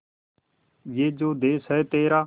ये जो देस है तेरा